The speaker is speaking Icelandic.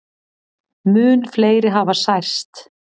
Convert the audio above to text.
Mun fleiri hafi særst.